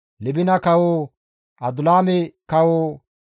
Libina kawo, Adulaame kawo,